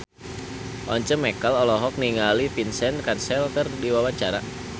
Once Mekel olohok ningali Vincent Cassel keur diwawancara